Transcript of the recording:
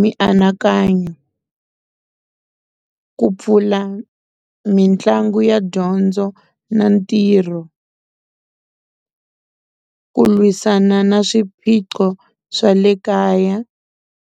mianakanyo ku pfula mitlangu ya dyondzo na ntirho ku lwisana na swiphiqo swa le kaya.